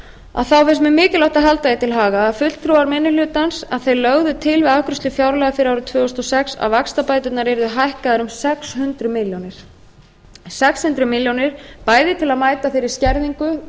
að þá finnst mér mikilvægt að halda því til haga að fulltrúar minni hlutans lögðu til við afgreiðslu fjárlaga fyrir árið tvö þúsund og sex að vaxtabæturnar yrðu hækkaðar um sex hundruð milljóna króna bæði til að mæta þeirri skerðingu